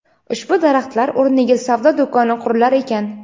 ushbu daraxtlar o‘rniga savdo do‘koni qurilar ekan.